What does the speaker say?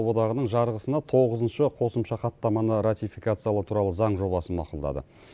одағының жарғысына тоғызыншы қосымша хаттаманы рафикациялау туралы заң жобасын мақұлдады